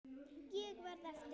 Ég verð eftir.